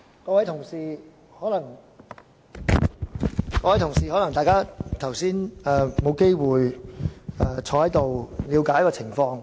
各位同事，可能大家剛才沒有機會了解這裏的情況。